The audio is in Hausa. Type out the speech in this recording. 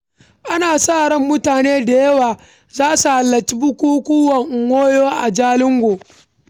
Ana sa ran mutane da yawa za su halarci bukukkuwan Nwonyo a Jalingo.